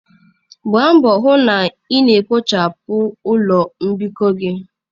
Gbaa mbọ hụ na ị na-kpochapụ ụlọ mbikọ gị.